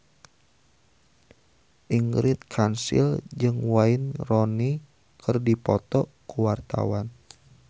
Ingrid Kansil jeung Wayne Rooney keur dipoto ku wartawan